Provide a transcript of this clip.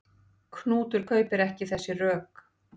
Knútur kaupir ekki þessi rök.